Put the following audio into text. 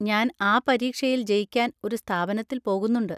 ഞാൻ ആ പരീക്ഷയിൽ ജയിക്കാൻ ഒരു സ്ഥാപനത്തിൽ പോകുന്നുണ്ട്.